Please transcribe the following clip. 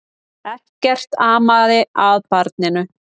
Ekkert amaði að barninu.